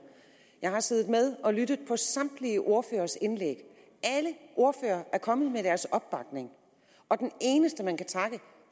jeg har siddet og lyttet med på samtlige ordføreres indlæg alle ordførere er kommet med deres opbakning og den eneste man kan takke